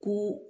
Ko